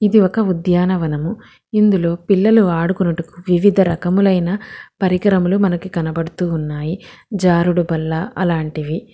ఇది ఒక ఉద్యానవనము ఇందులో పిల్లలు ఆడుకొనుటకు వివిధ రకములైన పరికరములు మనకి కనబడుతున్నాయి జారుడుబల్ల అలాంటివి.